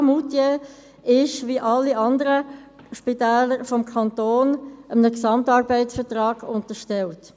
Das Spital Moutier ist wie alle anderen Spitäler des Kantons einem Gesamtarbeitsvertrag (GAV) unterstellt.